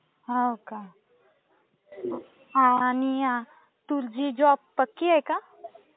हो का आणि तुझी जॉब पक्की आहे का?